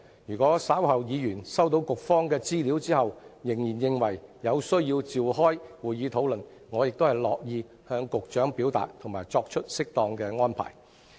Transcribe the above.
如果議員稍後收到局方的資料後仍然認為有需要召開會議討論，我亦樂意向局長表達及作出適當的安排。